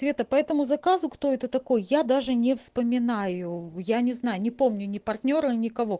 цвета по этому заказу кто это такой я даже не вспоминаю я не знаю не помню ни партнёра никого